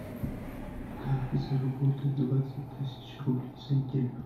как заработать двадцать тысяч рублей за неделю